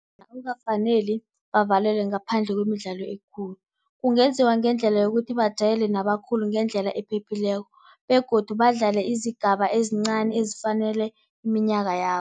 Akukafaneli bavalelwe ngaphandle kwemidlalo emikhulu. Kungenziwa ngendlela yokuthi bajayele nabakhulu ngendlela ephephileko begodu badlale izigaba ezincani ezifanele iminyaka yabo.